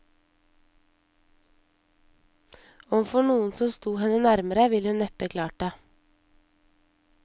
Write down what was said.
Overfor noen som sto henne nærmere, ville hun neppe klart det.